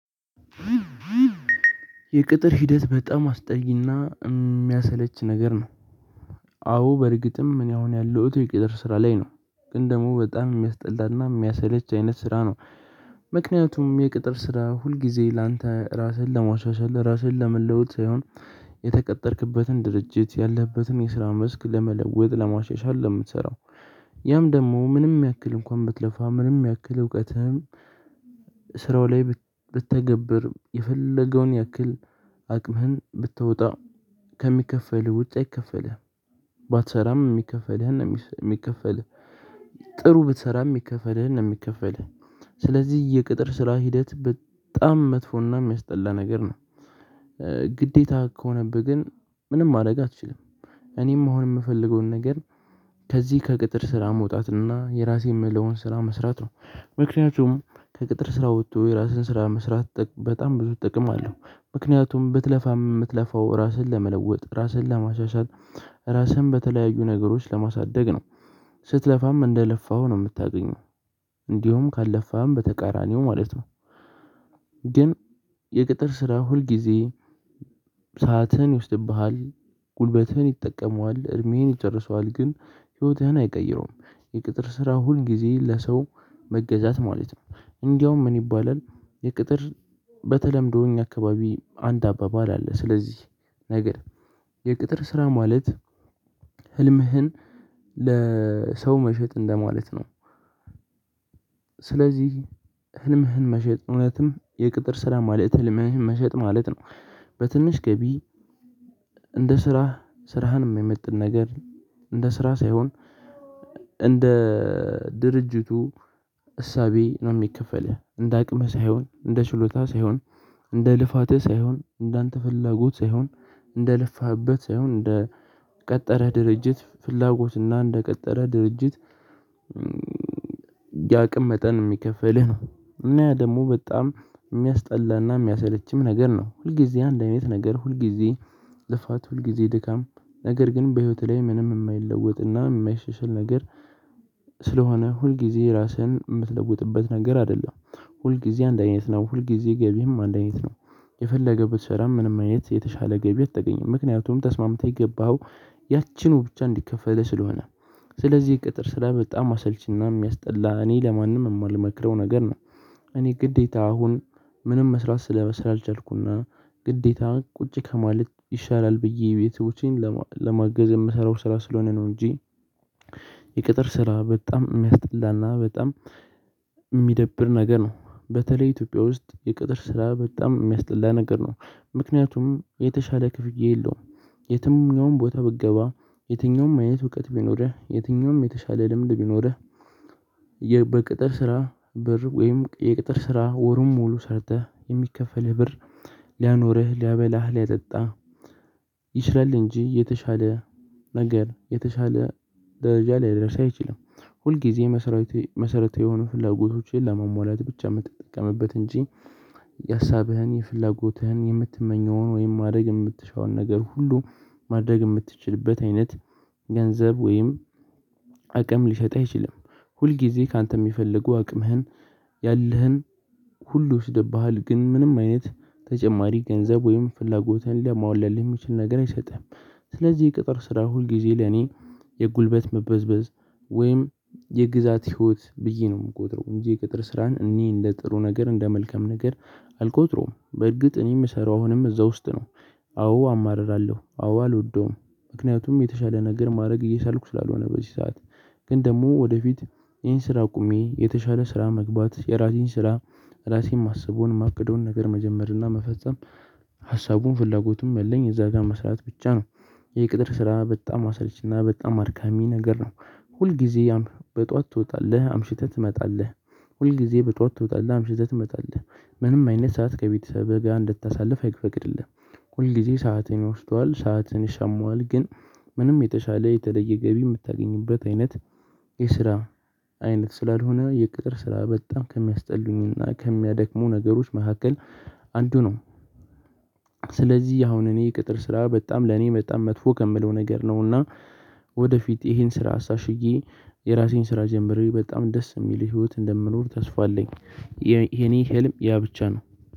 የቅጥር ሂደት በጣም አስጠይና የሚያሰለች ነገር ነው። አዎ በእርግጥም እኔ አሁን ያለሁት የቅጥር ስራ ላይ ነው። ግን ደግሞ በጣም የሚያስጠላና የሚያሰለች አይነት ስራ ነው። ምክንያቱም የቅጥር ስራ ሁልጊዜ ለአንተ ራስህን ለማሻሻል ራስህን ለመለወጥ ሳይሆን የተቀጠርህበትን ድርጅት ያለህበትን የስራ መስክ ለመለወጥ ለማሸሻ ነው የምትሰራው። ያም ደግሞ ምንም ያክል እንኳን ብትለፋ ምንም ያክል እውቀትህን ስራው ላይ ብትተገብር የፈለገውን ያክል አቅምህን ብታወጣ ከሚከፈል ውጭ አይከፈልህም። ባትሰራም የሚከፈልህን ነው የሚከፈልህ ጥሩ ብትሰራም የሚከፈልህን ነው የሚከፈልህ። ስለዚህ የቅጥር ስራ ሂደት በጣም መጥፎና የሚያስጠላ ነገር ነው። ግዴታ ከሆነብህ ግን ምንም ማድረግ አትችልም። እኔም አሁን የምፈልገውን ነገር ከዚህ ከቅጥር ስራ መውጣትና የራሴን ምለውን ስራ መስራት ነው። ምክንያቱም ከቅጥር ስራ ወጥቶ የራስን ስራ መስራት በጣም ብዙ አለው። ምክንያቱም ብትለፋም የምትለፋው ራስን ለመለወጥ ራስን ለማሻሻል ራስን በተለያዩ ነገሮች ለማሳደግ ነው። ስትለፋም እንደለፋው ነው የምታገኘው። እንዲሁም ካልለፋህም በተቃራኒው ማለት ነው። ግን የቅጥር ስራ ሁልጊዜ ሰዓትን ይወስድብሃል። ጉልበትህን ይጠቀመዋል እድሜህን ይጨርሰዋል ግን ህይወትህን አይቀይረውም። የቅጥር ስራ ሁል ጊዜ ለሰው መገዛት ማለት ነው። እንደውም ምን ይባላል? የቅጥር በተለምዶ እኛ አካባቢ አንድ አባባል አለ። ስለዚህ ነገር የቅጥር ስራ ማለት ህልምህን ለሰው መሸጥ እንደማለት ነው። ስለዚህ ህልምህን መሸጥ እውነትም የቅጥር ስራ ማለት ህልምህን መሸጥ ማለት ነው። በትንሽ ገቢ እንደ ስራ ስራህንም የመማይመጥ ነገር እንደ ስራ ሳይሆን እንደ ድርጅቱ እሳቤ ነው የሚከፈልህ እንደ አቅምህ ሳይሆን እንደ ችሎታህ ሳይሆን እንደ ልፋትህ ሳይሆን እንደ አንተ ፍላጎት ሳይሆን እንደ ልፋህበት ሳይሆን እንደ ቀጠረ ድርጅት ፍላጎትና እንደቀጠረህ ድርጅት ያቅም መጠን የሚከፍልህ ነው። እና ደግሞ በጣም የሚያስጠላና የሚያሰለችም ነገር ነው ሁልጊዜ አንድ ቤት ነገር ሁልጊዜ ልፋት ሁልጊዜ ድካም ነገር ግን በህይወትህ ላይ ምንም የማይለወጥና የማይሸሽል ነገር። ስለሆነ ሁልጊዜ ራስህን የምትለውጥበት ነገር አይደለም። ሁልጊዜ አንድ አይነት ነው ሁልጊዜ ገቢህም አንድ አይነት ነው። የፈለገ ብትስራ ምንም አይነት የተሻለ ገቢ አትገኝም ምክንያቱም ተስማምተህ የገባኸው ያቺኑ ብቻ እንዲከፈልህ ስለሆነ ስለዚህ ቅጥር ስራ በጣም አሰልቺና የሚያስጠላ እኔ ለማንም የማልመክረው ነገር ነው። እኔ ግዴታ አሁን ምንም መስራት ስለመስራት አልቻልኩና ግዴታ ቁጭ ከማለት ይሻላል ብዬ የቤተሰቦቼን ለመማገዝ የምሰራው ስራ ስለሆነ ነው እንጂ። የቅጥር ስራ በጣም የሚያስጠላና በጣም የሚደብር ነገር ነው በተለይ ኢትዮጵያ ውስጥ የቅጥር ስራ በጣም የሚያስጠላ ነገር ነው። ምክንያቱም የተሻለ ክፍያ የለውም። የትኛውም ቦታ ብትገባ የትኛውም አይነት እውቀት ቢኖርህ የትኛውም የተሻለ ልምድ ቢኖርህ በቅጥር ስራ ብር ወይም የቅጥር ስራ ወሩን ሙሉ ሰርተህ የሚከፈልህ ብር ሊያኖርህ ሊያበላህ ሊያጠጣህ። ይችላል እንጂ የተሻለ ነገር የተሻለ ደረጃ ላይ ሊያደርስህ አይችልም። ሁልጊዜ መሰረታዊ መሰረታዊ የሆኑ ፍላጎቶችን ለመሟላት ብቻ የምትጠቀምበት እንጂ። የሀሳብህን የፍላጎትህን የምትመኘውን ወይም ማድረግ የምትሻውን ነገር ሁሉ ማድረግ የምትችልበት አይነት ገንዘብ ወይም አቅም ሊሰጥህ አይችልም። ሁል ጊዜ ካንተ የሚፈልጉ አቅምህን ሁሉሽ ይወስድብሃል ግን ምንም አይነት ተጨማሪ ገንዘብ ወይም ፍላጎትህን ለማወለድ ለሚችል ነገር አይሰጥህም። ስለዚህ የቅጥር ስራ ሁልጊዜ ለኔ የጉልበት መበዝበዝ ወይም የግዛት ህይወት ብዬ ነው የምቆጥረው እንጂ የቅጥር ስራን እኔ እንደ ጥሩ ነገር እንደ መልከም ነገር አልቆጥረውም። በእርግጥ እኔ የምሰራው አሁንም እዛ ውስጥ ነው። አዎ አማርራለሁ አዎ አልወደውም። ምክንያቱም የተሻለ ነገር ማድረግ እየቻልኩ ስላልሆነ በዚህ ሰዓት ግን ደግሞ ወደፊት ይህን ስራ አቁሜ የተሻለ ስራ መግባት የራሴን ስራ ራሴን ማሰቡን ማቅደውን ነገር መጀመር እና መፈጸም ሀሳቡን ፍላጎቱን ያለኝ እዛ ጋር መስራት ብቻ ነው። የቅጥር ስራ በጣም አሰለችና በጣም አድካሚ ነገር ነው። ሁል ጊዜ ያም በጧት ትወጣለህ አምሽተህ ትመጣለህ። ሁል ጊዜ በጧት ትወጣለህ አምሽተህ ትመጣለህ። ምንም አይነት ሰዓት ከቤተሰብህ ጋር እንድታሳልፍ አይፈቅድልህም። ሁልጊዜ ሰዓትን ይወስደዋል ሰዓትን ይሻማዋል ግን ምንም የተሻለ የተለየ ገቢ የምታገኝበት አይነት የስራ አይነት ስላልሆነ የቅጥር ስራ በጣም ከሚያስጠሉኝና ከሚያደክሙ ነገሮች መካከል አንዱ ነው። ስለዚህ አሁን እኔ ቅጥር ስራ በጣም ለኔ በጣም መጥፎ ከምለው ነገር ነውና ወደፊት ይሄን ስራ አሳሽዬ የራሴን ስራ ጀምሬ በጣም ደስ የሚል ህይወት እንደምኖር ተስፋ አለኝ። የኔ ህልም ያ ብቻ ነው።